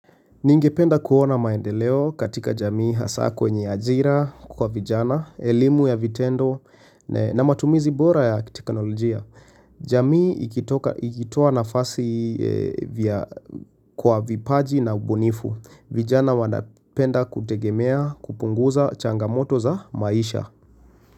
Ningependa kuona maendeleo katika jamii, hasa kwenye ajira kwa vijana, elimu ya vitendo na matumizi bora ya teknolojia. Jamii ikitoa nafasi kwa vipaji na ubunifu. Vijana wanapenda kutegemea, kupunguza changamoto za maisha.